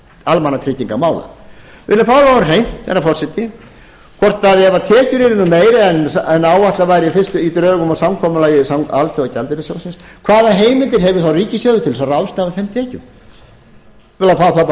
almannatryggingakerfisins við viljum fá það á hreint herra forseti hvort ef tekjur yrðu nú meiri en áætlað var í fyrstu dögum og samkomulagi alþjóðagjaldeyrissjóðsins hvaða heimild hefur þá ríkissjóður til þess að ráðstafa þeim tekjum við viljum fá það aðra á hreint